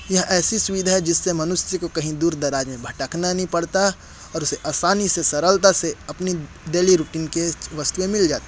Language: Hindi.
यह ऐसी सुविधा है जिससे मनुष्य को कहीं दूर दराज में भटकना नहीं पड़ता और उसे आसनी से सरलता से अपनी डेली रूटीन की वस्तुए मिल जाती--